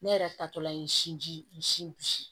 Ne yɛrɛ tatɔla ye sinji sin